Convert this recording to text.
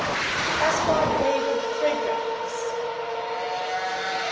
caspar david friedrich